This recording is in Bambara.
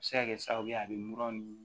A bɛ se ka kɛ sababu ye a bɛ mura nin